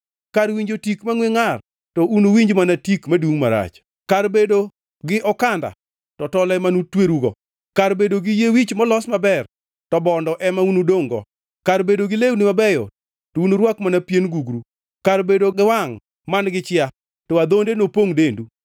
Kar winjo tik mangʼwe ngʼar to unuwinj mana tik madungʼ marach; kar bedo gi okanda to tol ema nutwerugo; kar bedo gi yie wich molos maber to bondo ema unudongʼ-go; kar bedo gi lewni mabeyo to unurwak mana pien gugru, kar bedo gi wangʼ man-gi chia to adhonde nopongʼ dendu.